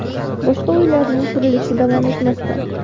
Boshqa uylarning qurilishi davom etmoqda.